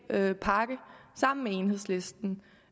sammen med enhedslisten